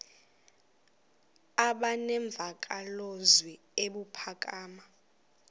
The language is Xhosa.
aba nemvakalozwi ebuphakama